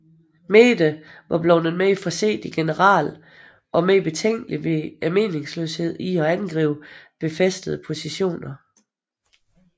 Meade var blevet en mere forsigtig general og mere betænkelig ved meningsløsheden i at angribe befæstede positioner